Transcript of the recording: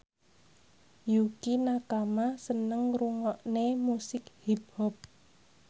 Yukie Nakama seneng ngrungokne musik hip hop